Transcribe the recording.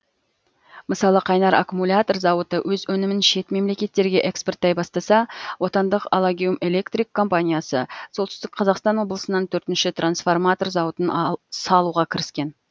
мысалы қайнар аккумулятор зауыты өз өнімін шет мемлекеттерге экспорттай бастаса отандық аллагеум электрик компаниясы солтүстік қазақстан облысынан төртінші трансформатор зауытын салуға кіріскен